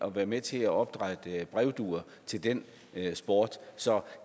at være med til at opdrætte brevduer til den sport så